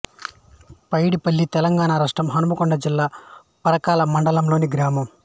పైడిపల్లి తెలంగాణ రాష్ట్రం హన్మకొండ జిల్లా పరకాల మండలం లోని గ్రామం